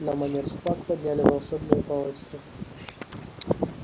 на манер шпаг подняли волшебные палочки